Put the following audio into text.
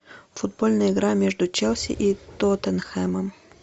футбольная игра между челси и тоттенхэмом